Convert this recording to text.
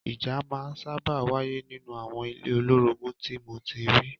Ìjà máa ń sábà wáyé nínú àwọn ilé olórogún tí mo ti rí.